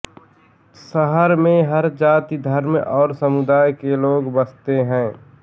शहर में हर जाति धर्म और समुदाय के लोग बस्ते है